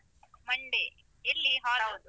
Monday ಎಲ್ಲಿ hall ?